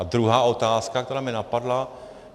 A druhá otázka, která mě napadla.